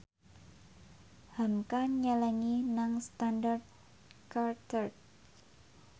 hamka nyelengi nang Standard Chartered